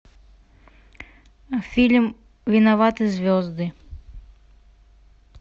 фильм виноваты звезды